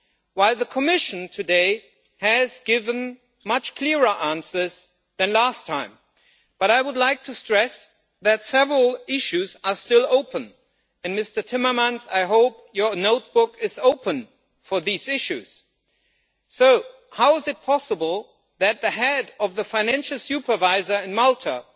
While the Commission today has given much clearer answers than last time, I would like to stress that several issues are still open and, Mr Timmermans, I hope your notebook is open for these issues. How is it possible that the Head of the Financial Services Authority,